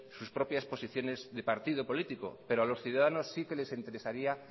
sus propias posiciones de partido político pero a los ciudadanos sí que les interesaría